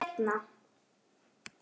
Ég hringi seinna.